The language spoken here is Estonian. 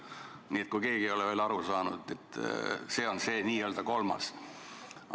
Nii et kui keegi ei ole veel aru saanud, siis see on mul n-ö kolmas.